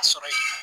A sɔrɔ yen